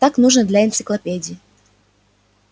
так нужно для энциклопедии